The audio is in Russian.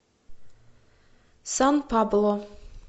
сан пабло